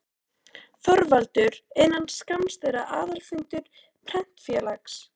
ÞORVALDUR: Innan skamms er aðalfundur Prentfélags